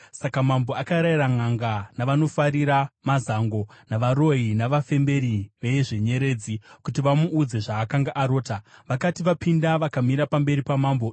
Saka mambo akarayira nʼanga, navanofarira mazango, navaroyi, navafemberi vezvenyeredzi kuti vamuudze zvaakanga arota. Vakati vapinda vakamira pamberi pamambo,